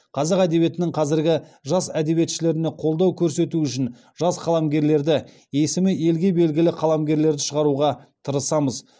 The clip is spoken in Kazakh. қазақ әдебиетінің қазіргі жас әдебиетшілеріне қолдау көрсету үшін жас қаламгерлерді есімі елге белгілі қаламгерлерді шығаруға тырысамыз